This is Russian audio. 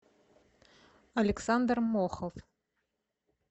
александр мохов